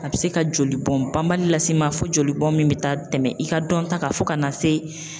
A bɛ se ka jolibɔn banbali lase i ma fo jolibɔn min bɛ taa tɛmɛ i ka dɔnta kan fo ka na se